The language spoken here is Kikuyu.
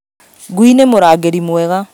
Ngui nĩ mũrangĩri mwega